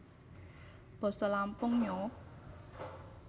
Basa Lampung Nyo